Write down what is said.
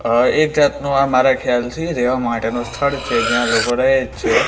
આ એક જાતનું આ મારા ખ્યાલથી રહેવા માટેનું સ્થળ છે જ્યાં લોકો રહે છે.